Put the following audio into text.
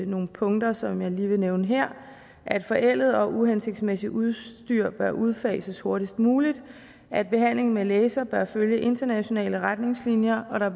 nogle punkter som jeg lige vil nævne her at forældet og uhensigtsmæssigt udstyr bør udfases hurtigst muligt at behandlingen med laser bør følge internationale retningslinjer at der